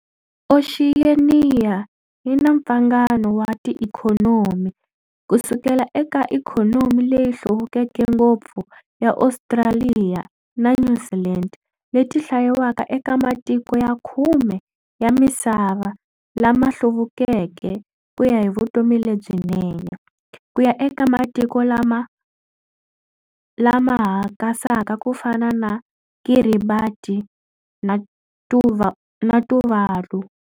Oxiyeniya yina mpfangano wa ti-ikhonomi, kusukela eka ikhonomi leyi hluvukeke ngopfu ya Ostraliya na Nyuzilendi leti hlayiwaka eka matiko ya khume ya misava lama hluvukeke kuya hi vutomi lebyinene, kuya eka matiko lama ha kasaka kufana na Kiribati na Tuvalu.